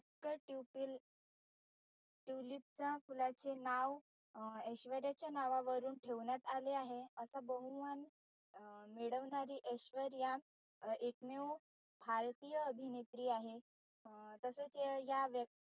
tulip च्या फुलाचे नाव ऐश्वर्याच्या नावावरून ठेवण्यात आले. असं बहुमान मिळवणारी ऐश्वर्या एकमेव भारतीय अभिनेत्री आहे अं तसाच या